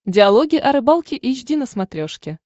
диалоги о рыбалке эйч ди на смотрешке